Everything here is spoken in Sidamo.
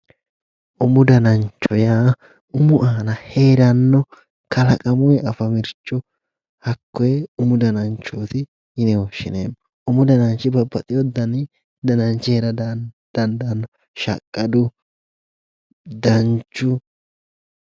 Umu danancho yaa ,umu iima heerano kalaqamunni afamano hakkoe umu danancho yinne woshshineemmo, umu dananchi babbaxino danni dananchi heera dandaano, shaqqadu, danchu.